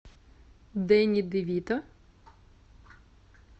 дэнни де вито